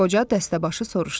Qoca dəstəbaşı soruşdu.